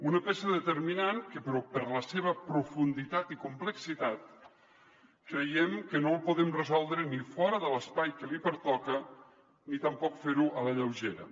una peça determinant que per la seva profunditat i complexitat creiem que no la podem resoldre ni fora de l’espai que li pertoca ni tampoc fer ho a la lleugera